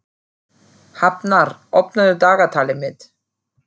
Hafnar, opnaðu dagatalið mitt.